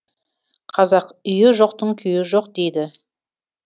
қазақ үйі жоқтың күйі жоқ дейді